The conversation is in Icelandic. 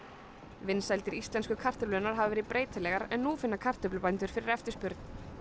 vinsældir íslensku kartöflurnar hafa verið breytilegar en nú finna kartöflubændur fyrir eftirspurn